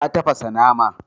Ta tafasa nama.